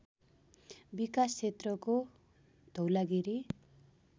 विकास क्षेत्रको धौलागिरी